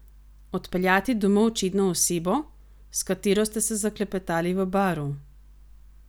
Odpeljati domov čedno osebo, s katero ste se zaklepetali v baru?